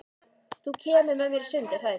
Þú kemur með mér í sund, er það ekki?